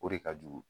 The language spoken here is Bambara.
O de ka jugu